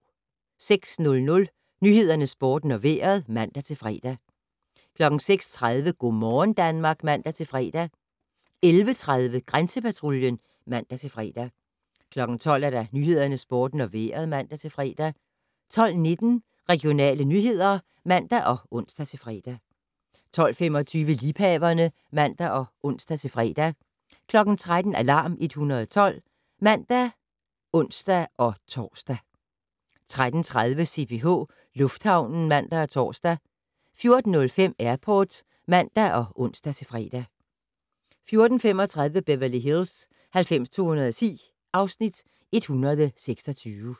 06:00: Nyhederne, Sporten og Vejret (man-fre) 06:30: Go' morgen Danmark (man-fre) 11:30: Grænsepatruljen (man-fre) 12:00: Nyhederne, Sporten og Vejret (man-fre) 12:19: Regionale nyheder (man og ons-fre) 12:25: Liebhaverne (man og ons-fre) 13:00: Alarm 112 (man og ons-tor) 13:30: CPH Lufthavnen (man og tor) 14:05: Airport (man og ons-fre) 14:35: Beverly Hills 90210 (Afs. 126)